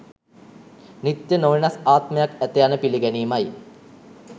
නිත්‍ය, නොවෙනස් ආත්මයක් ඇත යන පිළිගැනීමයි.